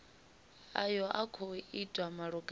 ayo a khou itwa malugana